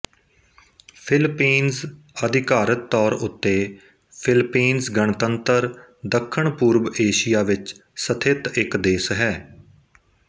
Philippines ਆਧਿਕਾਰਿਕ ਤੌਰ ਉੱਤੇ ਫ਼ਿਲਪੀਨਜ਼ ਗਣਤੰਤਰ ਦੱਖਣ ਪੂਰਬ ਏਸ਼ੀਆ ਵਿੱਚ ਸਥਿਤ ਇੱਕ ਦੇਸ਼ ਹੈ